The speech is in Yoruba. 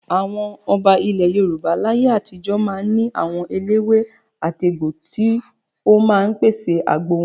Àwọn ọba ilẹ̀ Yorùbá láyé àtijó máa ń ní àwọn eléwé-àtegbò tí ó máa ń pèsè àgbo wọn.